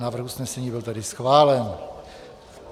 Návrh usnesení byl tedy schválen.